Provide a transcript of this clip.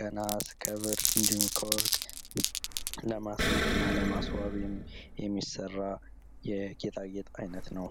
ከነሐስ፣ ከብር እንድሁም ከወርቅ ለማስጌጥ እና ለማስዋብ የሚሰራ የጌጣጌጥ አይነት ነው።